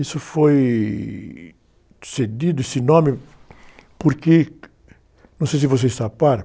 Isso foi cedido, esse nome, porque, não sei se vocês,